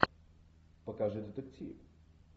покажи детектив